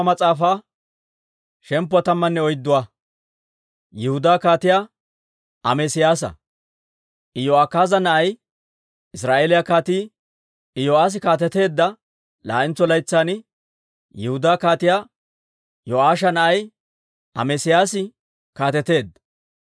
Iyo'akaaza na'ay, Israa'eeliyaa Kaatii Iyo'aassi kaateteedda laa'entso laytsan, Yihudaa Kaatiyaa Yo'aasha na'ay Amesiyaasi kaateteedda.